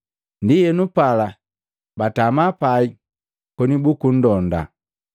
Ndienu pala batama pai koni bukunndonda.